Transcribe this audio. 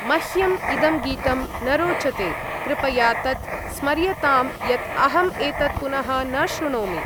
मह्यम् इदं गीतं न रोचते, कृपया तत् स्मर्यतां यत् अहम् एतत् पुनः न शृणोमि।